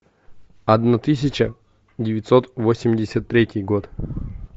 одна тысяча девятьсот восемьдесят третий год